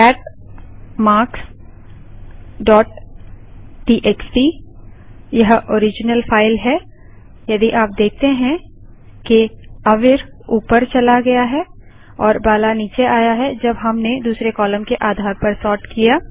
cat marks dot TXT यह original file है यदि आप देखते हैं कि अवीर ऊपर चला गया और बाला नीचे आ गया है जब हमने दूसरे कालम के आधार पर सोर्ट किया